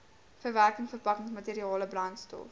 verwerking verpakkingsmateriale brandstof